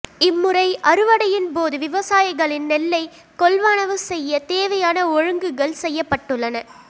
இம்முறை அறுவடையின்போது விவசாயிகளின் நெல்லை கொள்வனவு செய்ய தேவையான ஒழுங்குகள் செய்யப்பட்டுள்ளன